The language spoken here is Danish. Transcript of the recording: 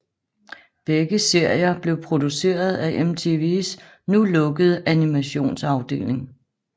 Begge serier blev produceret af MTVs nu lukkede animationsafdeling